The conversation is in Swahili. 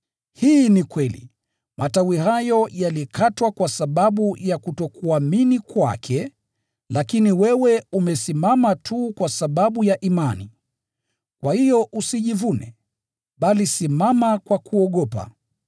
Hii ni kweli. Matawi hayo yalikatwa kwa sababu ya kutokuamini kwake, lakini wewe umesimama tu kwa sababu ya imani. Kwa hiyo usijivune, bali simama kwa kuogopa.